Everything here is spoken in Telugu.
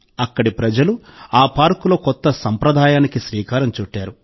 అక్కడి ప్రజలు ఆ పార్కులో కొత్త సంప్రదాయానికి శ్రీకారం చుట్టారు